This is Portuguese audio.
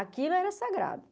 Aquilo era sagrado.